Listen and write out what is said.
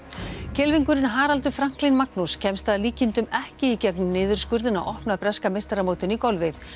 kylfingurinn Haraldur Franklín Magnús kemst að líkindum ekki í gegnum niðurskurðinn á opna breska meistaramótinu í golfi